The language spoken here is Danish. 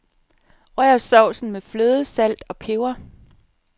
Rør sovsen med fløde, salt og peber.